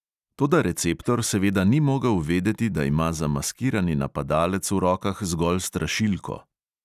Toda receptor seveda ni mogel vedeti, da ima zamaskirani napadalec v rokah zgolj strašilko.